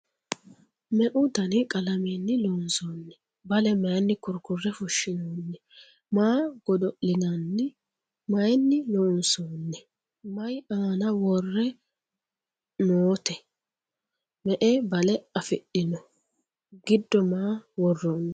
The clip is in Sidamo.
Meu Dani qalameenni loonsoonni? Bale mayiinni kurikurre fushiinnonni? Maa godo'linaanni? Mayiinni loonsoonni? Mayi aanna worrenna nootte? Me'e bale afidhinno? giddo maa woraanni?